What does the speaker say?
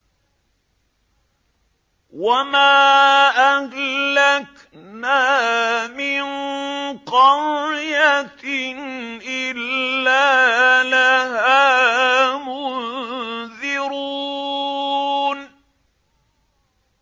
وَمَا أَهْلَكْنَا مِن قَرْيَةٍ إِلَّا لَهَا مُنذِرُونَ